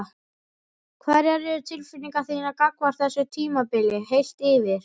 Hverjar eru tilfinningar þínar gagnvart þessu tímabili heilt yfir?